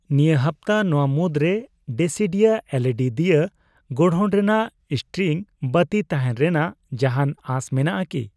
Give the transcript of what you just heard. ᱱᱤᱭᱟᱹ ᱦᱟᱯᱛᱟ ᱱᱚᱣᱟ ᱢᱩᱫᱨᱮ ᱰᱮᱥᱤᱰᱤᱭᱟ ᱮᱞᱹᱤᱹᱰᱤ ᱫᱤᱭᱟ ᱜᱚᱲᱦᱚᱱ ᱨᱮᱱᱟᱜ ᱤᱥᱴᱨᱤᱝ ᱵᱟᱹᱛᱤ ᱛᱟᱦᱮᱱ ᱨᱮᱱᱟᱜ ᱡᱟᱦᱟᱱ ᱟᱥ ᱢᱮᱱᱟᱜ ᱟᱠᱤ ?